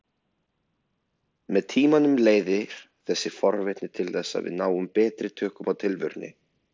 Með tímanum leiðir þessi forvitni til þess að við náum betri tökum á tilverunni.